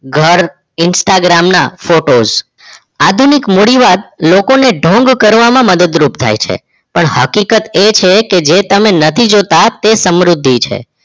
ઘર Instagram ના photos આધુનિક મુળીવાદ લોકોને ઢોંગ કરવામાં મદદ રૂપ થઈ છે પણ હકીકત એ છે જે તમે નથી જોતાં તે સમૃદ્ધિ છે